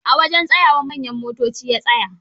A wajen tsayawar manyan motoci ya tsaya